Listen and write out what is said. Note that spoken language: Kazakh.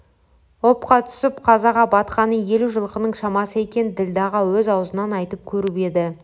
опқа түсіп қазаға батқаны елу жылқының шамасы екен ділдәға өз аузынан айтып көріп еді